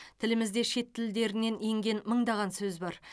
тілімізде шет тілдерінен енген мыңдаған сөз бар